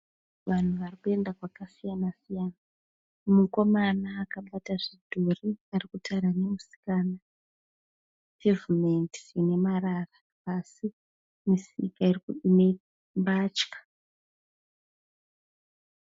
Vanhu varikuenda kwakasiyana siyana. Mukomana akabata zvidhori arikutaura nemusikana. Pevhimendi ine marara asi misika ine mbatya.